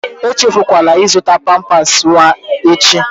Echefukwala ịzụta pampas nwa echi!